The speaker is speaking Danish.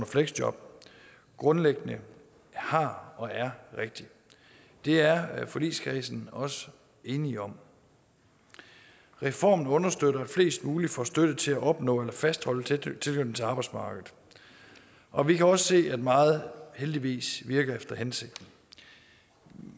fleksjob grundlæggende har og er rigtig det er forligskredsen også enig om reformen understøtter at flest muligt får støtte til at opnå eller fastholde tilknytningen til arbejdsmarkedet og vi kan også se at meget heldigvis virker efter hensigten